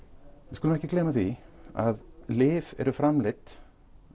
við skulum ekki gleyma því að lyf eru framleidd